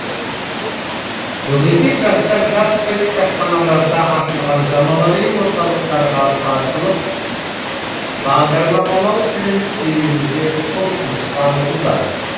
бүгінде жастар жаппай кітапханаларда ашылған заманауи орталықтарға тартылып бағдарламалау тілін үйренуге құлшыныс танытуда